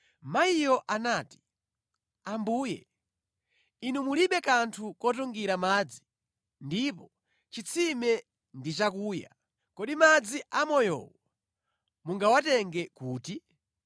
Mayiyo anati, “Ambuye, Inu mulibe kanthu kotungira madzi ndipo chitsime ndi chakuya. Kodi madzi amoyowo mungawatenge kuti?